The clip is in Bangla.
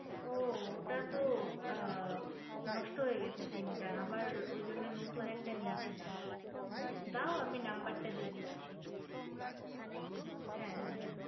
ও ওটা তো আ নষ্ট হয়ে গেছে sim টা আবার ওই জন্য নতুন একটা নিয়েছিলাম দাও আমি number টা দিচ্ছি হ্যা